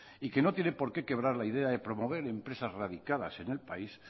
y que no tiene por qué quebrar la idea de promover empresas erradicadas en el país